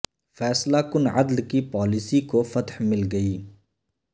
فیصلہ کن عدل کی پالیسی کو فتح مل گئی